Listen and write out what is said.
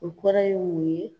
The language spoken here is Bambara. O kɔrɔ ye mun ye